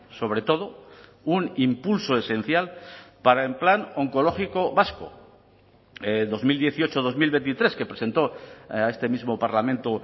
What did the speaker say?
sobre todo un impulso esencial para el plan oncológico vasco dos mil dieciocho dos mil veintitrés que presentó a este mismo parlamento